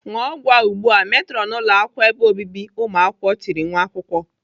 "ṅụọ ọgwụ a ugbu a!" Metrọnu ụlọakwụkwọ ebe obibi ụmụakwụkwọ tiri nwa akwụkwọ.